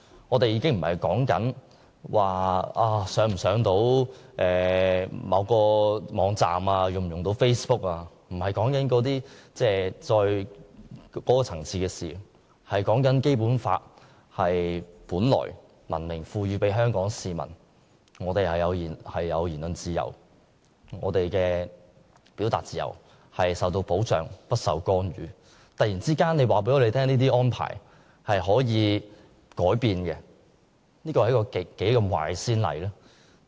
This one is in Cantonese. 我們所擔心的已不是能否登入某個網站或使用 Facebook 的問題，不是這個層次的事，而是關注《基本法》明文賦予香港市民的言論自由、表達自由，本來可受到保障而不受干預，但卻因政府突然宣布的此一安排而有可能改變，這實在是一個極壞的先例。